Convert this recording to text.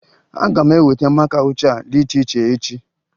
Aga m eweta maka ụcha dị iche iche echi